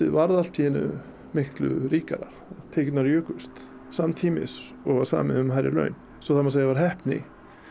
varð allt í einu miklu ríkara tekjurnar jukust samtímis og var samið um hærri laun svo það má segja var heppni